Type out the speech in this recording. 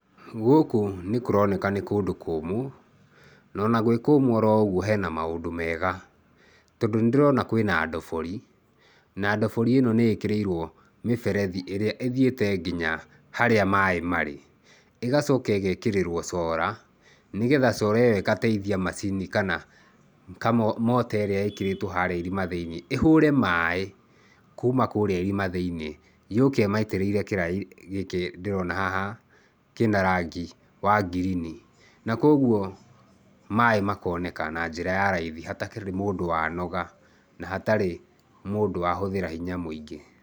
Gũkũ nĩkũroneka nĩ kũndũ kũmũ, na ona gwĩ kũmũ ũguo hena maũndũ mega tondũ nĩndĩrona kwĩna ndobori na ndobori ĩno nĩĩkĩrĩirwo mĩberethi ĩrĩa ĩthiĩte nginya harĩa maaĩ marĩ. ĩgacoka ĩgĩkĩrĩrwo sora nĩgetha sora ĩyo ĩgateithia macini kana mota ĩrĩa ĩkĩrĩtwo harĩa irima thĩinĩ ĩhũre maaĩ kuma kũrĩa irima thĩinĩ yũke ĩmaitĩrĩire kĩraĩ gĩkĩ ndĩrona haha kĩna rangi wa ngirini. Na koguo maaĩ makoneka na njĩra ya raithi hatakĩrĩ mũndũ wanoga na hatarĩ mũndũ wahũthĩra hinya mũingĩ.